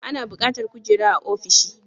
Ana bukatar kujera a ofishi